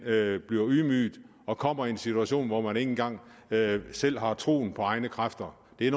bliver ydmyget og kommer i en situation hvor man ikke engang selv har troen på egne kræfter det er